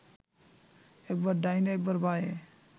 একবার ডাইনে একবার বাঁয়ে